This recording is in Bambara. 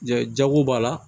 Jago b'a la